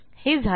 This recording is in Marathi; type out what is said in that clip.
हे झाले